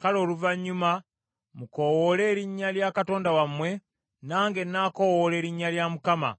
Kale oluvannyuma mukoowoole erinnya lya katonda wammwe, nange nnaakowoola erinnya lya Mukama ;